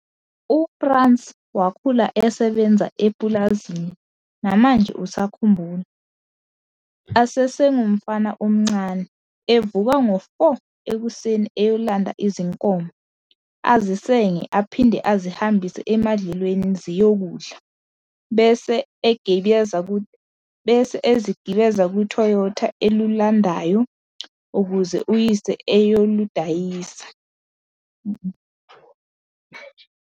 UFrans wakhula esebenza epulazini namanje usakhumbula, asengumfana omncane, evuka ngo-4h00 ekuseni eyolanda izinkomo, azisenge aphinde azihambise emadlelweni ziyokudla, bese egibeza kuToyota elulandayo, ukuze uyise eyoludayise.